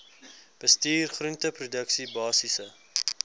bestuur groenteproduksie basiese